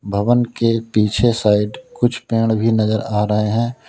भवन के पीछे साइड कुछ पेड़ भी नजर आ रहे हैं।